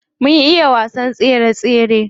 Mun iya wasan tsere tsere.